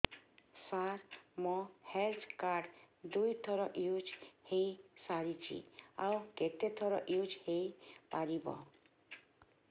ସାର ମୋ health card ଦୁଇ ଥର ୟୁଜ଼ ହୈ ସାରିଛି ଆଉ କେତେ ଥର ୟୁଜ଼ ହୈ ପାରିବ